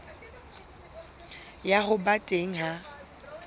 ya ho ba teng ha